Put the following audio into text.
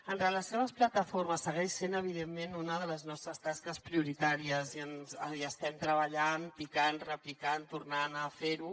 en relació amb les plataformes segueix sent evidentment una de les nostres tasques prioritàries hi estem treballant picant repicant tornant a fer ho